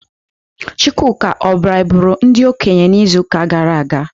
Chukwuka o braiburu ndi okenye n'izu gara aga?